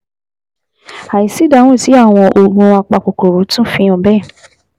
Àìsí ìdáhùn sí àwọn oògùn apakòkòrò tún fi hàn bẹ́ẹ̀